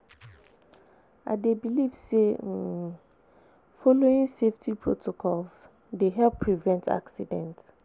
I dey believe say um following saftety protocols dey help prevent accident.